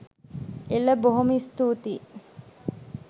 එල! බොහොම ස්තූතියි